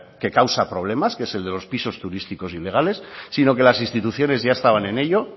que causa problemas que es el de los pisos turísticos ilegales sino que las instituciones ya estaban en ello